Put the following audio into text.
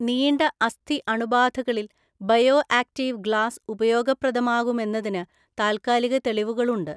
നീണ്ട അസ്ഥി അണുബാധകളിൽ ബയോ ആക്റ്റീവ് ഗ്ലാസ് ഉപയോഗപ്രദമാകുമെന്നതിന് താൽക്കാലിക തെളിവുകളുണ്ട്.